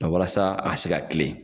Nga walasa a ka se ka kilen .